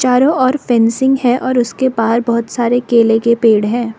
चारों ओर फेंसिंग है और उसके बाहर बहोत सारे केले के पेड़ हैं।